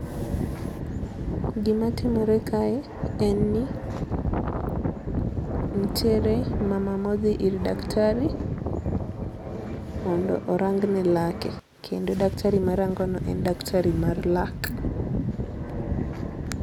Gima timore kae en ni nitiere mama modhi ir daktar mondo orangne lake kendo daktari marangone en daktar mar lak.